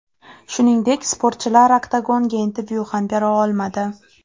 Shuningdek, sportchilar oktagonda intervyu ham bera olmadi.